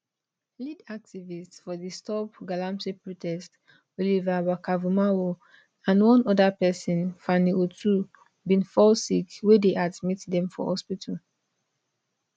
lead activist for di stopgalamsey protest oliver barkervormawor and one oda pesin fanny otoo bin fall sick wey dey admit dem for hospital